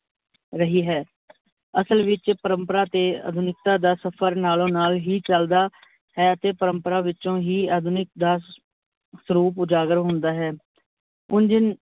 ਰਹੀ ਹੈ। ਅਸਲ ਵਿੱਚ ਪਰਮਪਰਾ ਤੇ ਆਧੁਨਿਕਤਾ ਦਾ ਸਫਰ ਨਾਲੋਂ ਨਾਲ ਹੀ ਚੱਲਦਾ ਹੈ, ਤੇ ਪਰਮਪਰਾ ਵਿੱਚੋਂ ਹੀ ਆਧੁਨਿਕ ਦਾ ਸਰੂਪ ਉਜਾਗਰ ਹੁੰਦਾ ਹੈ, ਉਂਝ